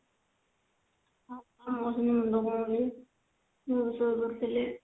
ହଁ ମୋର ବି ମୁଣ୍ଡ କଣ ହଉଥିଲା ମୁଁ ବି ଶୋଇପଡିଥିଲି